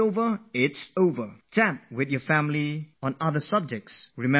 Please chat about otherthings with your family, talk of other topics, refresh your mind with some light banter